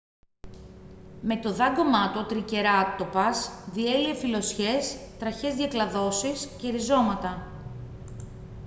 με το δάγκωμά του ο τρικεράτοπας διέλυε φυλλωσιές τραχιές διακλαδώσεις και ριζώματα